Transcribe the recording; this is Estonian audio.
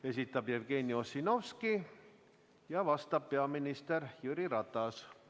Esitab Jevgeni Ossinovski ja vastab peaminister Jüri Ratas.